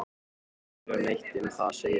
Sagðist ekki vilja neitt um það segja.